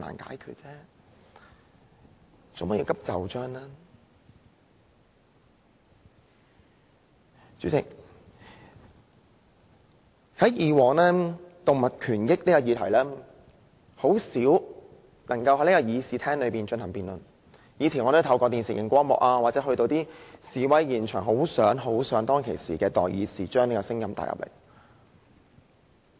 代理主席，以往有關動物權益的議題，很少能夠在議事廳內進行辯論，我以前透過電視或前往示威現場，很想當時的代議士將這個聲音帶入議會。